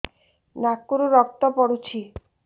ନାକରୁ ରକ୍ତ ପଡୁଛି